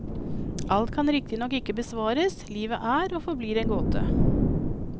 Alt kan riktignok ikke besvares, livet er og forblir en gåte.